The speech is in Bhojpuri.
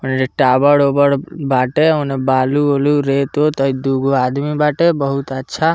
टावर-उवर बाटे ओने बालू-वालू रेत-उत इ दुगो आदमी बाटे बहुत अच्छा।